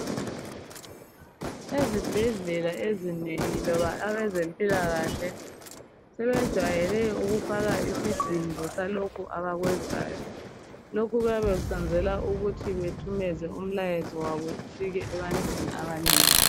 Ezibhedlela ezinengi, loba abezempilakahle, sebejwayele ukufaka isidindo salokho abakwenzayo. Lokhu bayabe bekwenzela ukuthumeza imilayezo yabo ifike ebantwini abanengi,